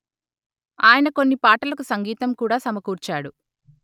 ఆయన కొన్ని పాటలకు సంగీతం కూడా సమకూర్చాడు